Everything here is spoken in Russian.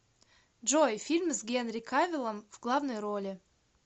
джой фильм с генри кавиллом в главной роли